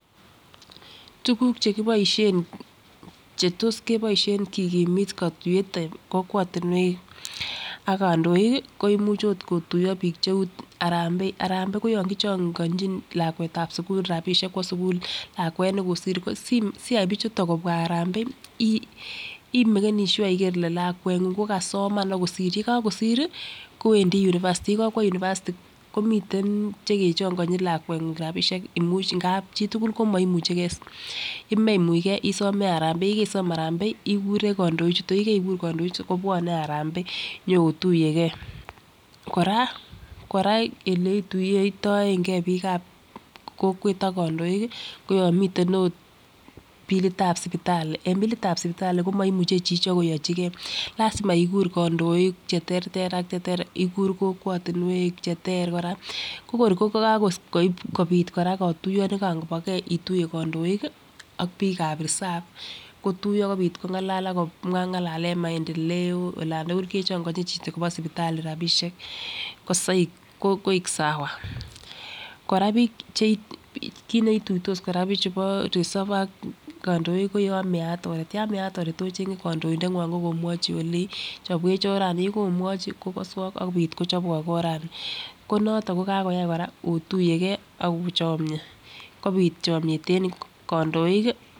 Tukuk chekiboisien chetos kiboisien kikimit katuiyet en kokwotinwek ak kandoik koimuch ot kotuyo biik cheu harambee, harambee koyon kichongonjin lakwetab sugul lakwet nekosir siyai bichuto kobwaa harambee imekani sure iker lakweng'ung kokasoman akosir yekokosir kowendi University yekokwo university komiten chekechongonjin lakweng'ung rapisiek imuch ngap chitugul komoimucheke, yememuchke isome harambee, yekeisom harambee ikure kandoichuto yekeikur kandoichuto kobwone harambee inyootuyeke kora oleotuiyotoike biikab kokwet ak kandoik koyon miten ot billitab sipitali en bilitab sipital komoimuche chichok koyochike lasima ikur kandoik cheterter ak cheter ikuru kokwotinwek cheter kora kokor kokakobit kora katuyonikoboke ituiye kandok ak biikab reseved kotuiyo kobit kong'alal akomwa maendeleo olan tugul kechong'onjin chichikopo sipital rapisiek koi sawa ,kora biik kit neituitos kora bichu bo reserved ak kandoik koyan meat oret yan meat oret ocheng'e kandoindengwong akomwochi olei chobwech orani yeko omwachi kokaswok akopit kochobwok orani konoto kokakoyai kora otuyeke akochomie kobit chomiet en kandoik ii.